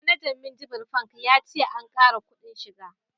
Manajan minjibir fak ya ce an kara kudin shiga